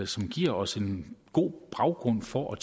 som giver os en god baggrund for at